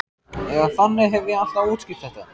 Eða þannig hef ég alltaf útskýrt þetta.